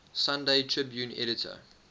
sunday tribune editor